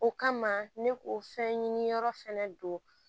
O kama ne ko fɛn ɲini yɔrɔ fɛnɛ don